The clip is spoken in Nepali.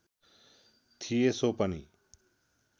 थिए सो पनि